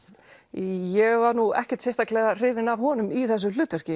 ég var ekkert sérstaklega hrifin af honum í þessu hlutverki